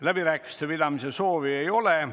Läbirääkimiste pidamise soovi ei ole.